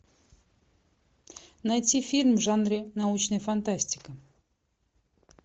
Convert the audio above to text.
найти фильм в жанре научная фантастика